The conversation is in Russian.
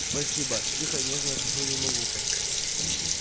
спасибо тихо и нежно шепнули ему в ухо